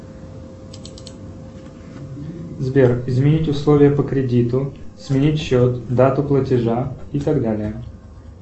сбер изменить условия по кредиту сменить счет дату платежа и так далее